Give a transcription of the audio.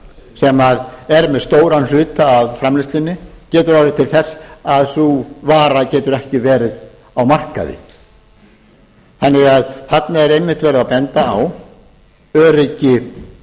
sem er með stóran hluta af framleiðslunni getur það orðið til þess að sú vara getur ekki verið á markaði þarna er því einmitt verið að benda á öryggi